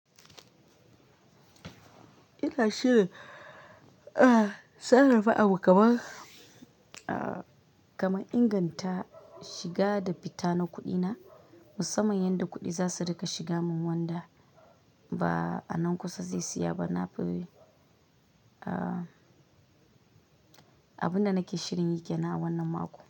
Ina shirin, ah, sanarwa abokan, ah, kamar inganta shiga da fita na kuɗina musamman yadda kuɗi za su rika shiga min wanda ba a nan kusa zai siya ba. Na fi, ah, abunda nake shirin yi ke na a wannan mako.